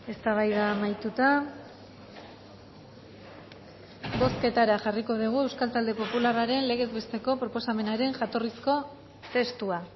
eztabaida amaituta bozketara jarriko dugu euskal talde popularraren legez besteko proposamenaren jatorrizko testua